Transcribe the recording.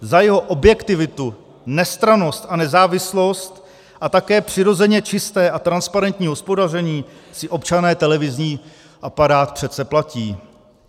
Za jeho objektivitu, nestrannost a nezávislost a také přirozeně čisté a transparentní hospodaření si občané televizní aparát přece platí.